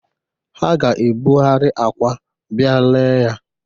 Ha ga-ebugheri akwa bịa lee ya.